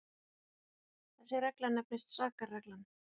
þessi regla nefnist sakarreglan